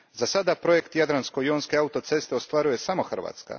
Zasad projekt Jadransko jonske autoceste ostvaruje samo Hrvatska.